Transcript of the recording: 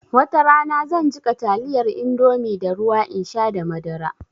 Watarana zan jiƙa taliyar indomie da ruwa in sha da madara